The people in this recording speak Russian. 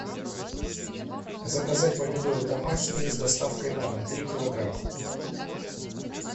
заказать помидоры домашние с доставкой на дом три килограмма